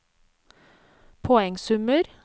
poengsummer